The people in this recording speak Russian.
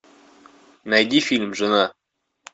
найди фильм жена